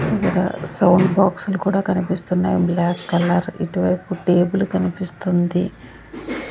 Sound బాక్స్లు కూడా కనిపిస్తున్నాయి బ్లాక్ కలర్ ఇటువైపు టేబుల్ కనిపిస్తుంది.